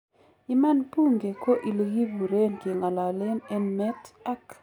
Iman bunge ko ilekipuren kengalalen en met ak